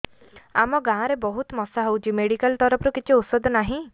ଆମ ଗାଁ ରେ ବହୁତ ମଶା ହଉଚି ମେଡିକାଲ ତରଫରୁ କିଛି ଔଷଧ ନାହିଁ